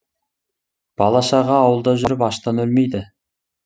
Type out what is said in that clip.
бала шаға ауылда жүріп аштан өлмейді